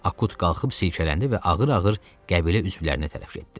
Akut qalxıb silkələndi və ağır-ağır qəbilə üzvlərinə tərəf getdi.